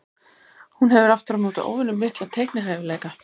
Hún hefur aftur á móti óvenju mikla teiknihæfileika.